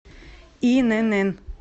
инн